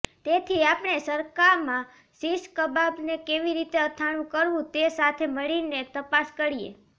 તેથી આપણે સરકામાં શીશ કબાબને કેવી રીતે અથાણું કરવું તે સાથે મળીને તપાસ કરીએ